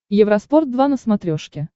евроспорт два на смотрешке